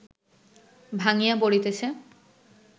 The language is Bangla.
ভাঙ্গিয়া পড়িতেছে